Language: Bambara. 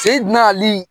Se nali